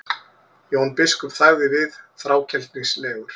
Jón biskup þagði við, þrákelknislegur.